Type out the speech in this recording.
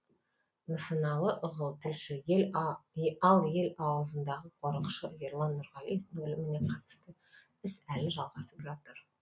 нысаналы ығыл тілші ал ел аузындағы қорықшы ерлан нұрғалиевтің өліміне қатысты іс әлі жалғасып жатыр